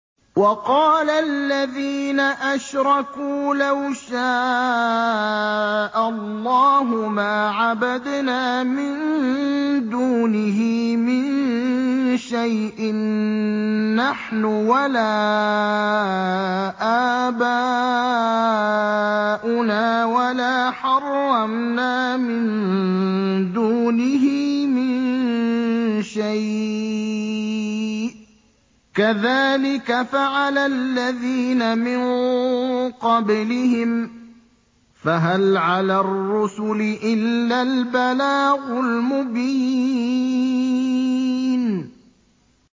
وَقَالَ الَّذِينَ أَشْرَكُوا لَوْ شَاءَ اللَّهُ مَا عَبَدْنَا مِن دُونِهِ مِن شَيْءٍ نَّحْنُ وَلَا آبَاؤُنَا وَلَا حَرَّمْنَا مِن دُونِهِ مِن شَيْءٍ ۚ كَذَٰلِكَ فَعَلَ الَّذِينَ مِن قَبْلِهِمْ ۚ فَهَلْ عَلَى الرُّسُلِ إِلَّا الْبَلَاغُ الْمُبِينُ